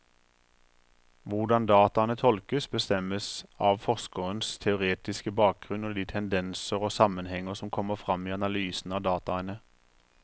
Hvordan dataene tolkes, bestemmes av forskerens teoretiske bakgrunnen og de tendenser og sammenhenger som kommer frem i analysen av dataene.